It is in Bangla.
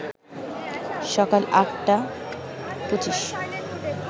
সকাল ৮টা ২৫